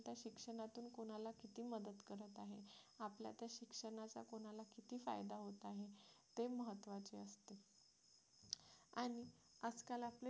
किती फायदा होत आहे ते महत्त्वाचं असतं आणि आजकाल आपल्यासाठी